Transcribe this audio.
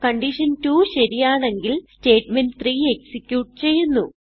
കണ്ടീഷൻ2 ശരിയാണെങ്കിൽ statement three execute ചെയ്യുന്നു